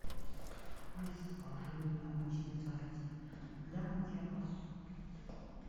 алиса закажи мне обычное сорти для мытья посуды